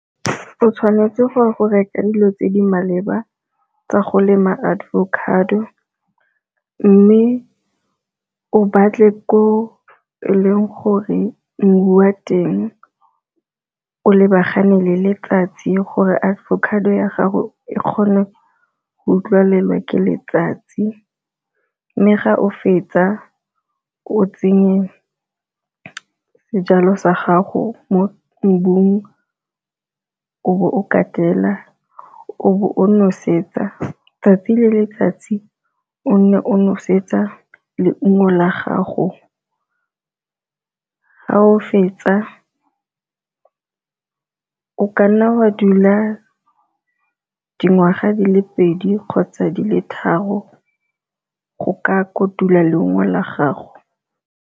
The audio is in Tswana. O tshwanetse go ya go reka dilo tse di maleba tsa go lema avocado, mme o batle ko e leng gore mo mmu wa teng o lebagane le letsatsi gore avocado ya gago e kgone go utlwalelwa ke letsatsi. Mme ga o fetsa o tsenye sejalo sa gago mo o bo o kaela, o bo o nosetsa, 'tsatsi le letsatsi o nne o nosetsa leungo la gago. Ga o fetsa, o ka nna wa dula dingwaga di le pedi kgotsa di le tharo go ka kotula leungo la gago.